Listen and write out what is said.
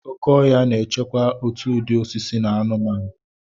Oke ọhịa na-echekwa òtù ụdị osisi na anụmanụ.